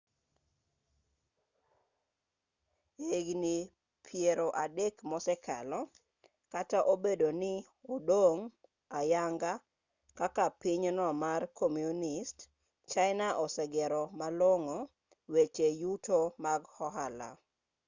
e higni piero adek mosekalo kata obedo ni odong' ayanga kaka pinyno mar komunist china osegero malong'o weche yuto mag ohala